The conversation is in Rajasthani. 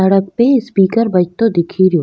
सड़क पे स्पीकर बजतो दिख रो।